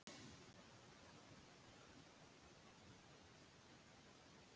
Verðbólga hefur ýmiss konar áhrif á þá sem taka lán til húsnæðiskaupa.